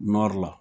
nɔri la